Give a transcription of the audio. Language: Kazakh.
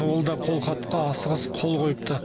ол да қолхатқа асығыс қол қойыпты